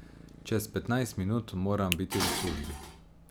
Čez petnajst minut moram biti v službi.